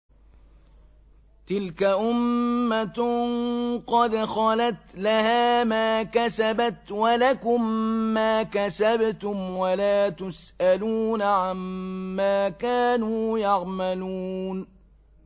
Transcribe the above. تِلْكَ أُمَّةٌ قَدْ خَلَتْ ۖ لَهَا مَا كَسَبَتْ وَلَكُم مَّا كَسَبْتُمْ ۖ وَلَا تُسْأَلُونَ عَمَّا كَانُوا يَعْمَلُونَ